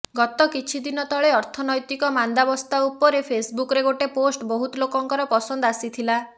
ଗତ କିଛି ଦିନ ତଳେ ଅର୍ଥନୈତିକ ମାନ୍ଦାବସ୍ଥା ଉପରେ ଫେସବୁକରେ ଗୋଟେ ପୋଷ୍ଟ ବହୁତ ଲୋକଙ୍କର ପସନ୍ଦ ଆସିଥିଲା